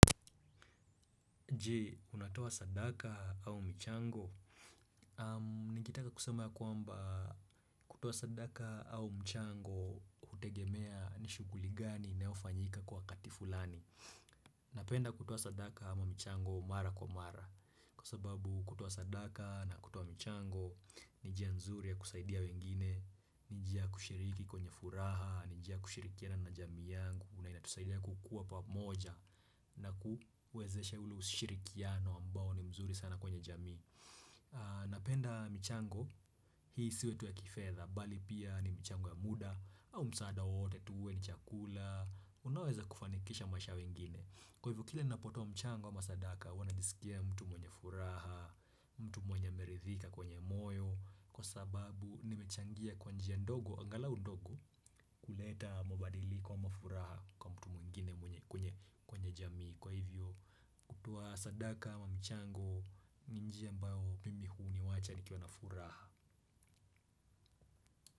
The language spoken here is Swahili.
Jee, unatoa sadaka au mchango? Ningetaka kusema ya kwamba kutoa sadaka au mchango hutegemea ni shughuli gani inaofanyika kwa wakati fulani. Napenda kutua sadaka ama mchango mara kwa mara. Kwa sababu kutoa sadaka na kutoa mchango ni njia nzuri ya kusaidia wengine. Ni njia ya kushiriki kwenye furaha, ni njia ya kushirikiana na jamii yangu, inatusaidia kukua pamoja. Na kuwezeshe ule ushirikiano ambao ni mzuri sana kwenye jamii. Napenda mchango hii isiwe tu ya kifedha bali pia ni mchango ya muda au msaada wowote tu uwe ni chakula. Unaweza kufanikisha maisha ya wengine kwa hivyo kile unapotoa mchango ama sadaka huwa najisikia mtu mwenye furaha. Mtu mwenye ameridhika kwenye moyo kwa sababu nimechangia kwa njia ndogo angalau ndogo kuleta mabadiliko kwa furaha kwa mtu mwingine kwenye jamii kwa hivyo kutoa sadaka ama mchango ni njia ambayo mimi huniwacha nikiwa na furaha.